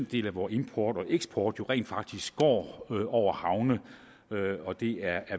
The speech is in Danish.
del af vor import og eksport jo rent faktisk går over havne og det er